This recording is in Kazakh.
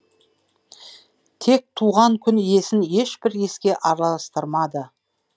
тек туған күн иесін ешбір іске араластырмады